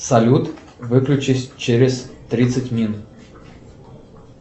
салют выключись через тридцать минут